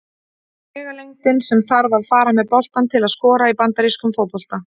Vegalengdin sem þarf að fara með boltann til að skora í bandarískum fótbolta.